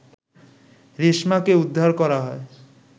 রেশমাকে উদ্ধার করা হয়